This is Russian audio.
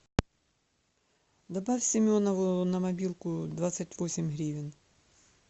добавь семенову на мобилку двадцать восемь гривен